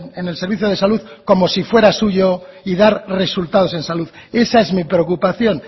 en el servicio de salud como si fuera suyo y dar resultados en salud esa es mi preocupación